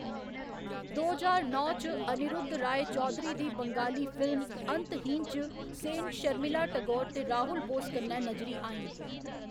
दो ज्हार नौ च, अनिरुद्ध राय चौधरी दी बंगाली फिल्म अंतहीन च सेन शर्मिला टैगोर ते राहुल बोस कन्नै नजरी आईं।